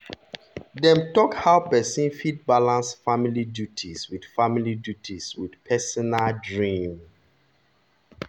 dem talk how person fit balance family duties with family duties with personal dream.